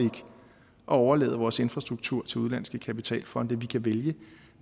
overlade vores infrastruktur til udenlandske kapitalfonde vi kan vælge